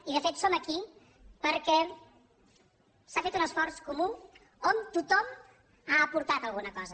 i de fet som aquí perquè s’ha fet un esforç comú on tothom ha aportat alguna cosa